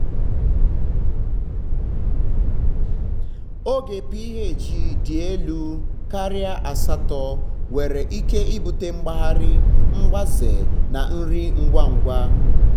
ogo ph dị elu um karịa asatọ nwere ike ibute mgbari um mgbaze na nri ngwa ngwa. um